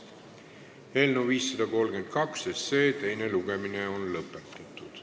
Eelnõu 532 teine lugemine on lõppenud.